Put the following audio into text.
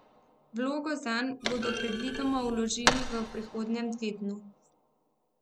Vlogo zanj bodo predvidoma vložili v prihodnjem tednu.